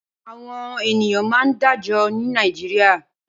Awòn éniyàn mà n dàájò ni Nàijiriá